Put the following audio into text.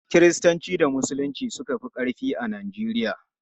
Kiristanci da Musulunci suka fi ƙarfi a Najeriya.